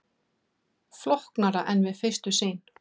Flóknara en við fyrstu sýn